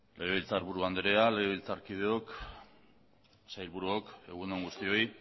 legebiltzarburu andrea legebiltzarkideok sailburuok egun on guztioi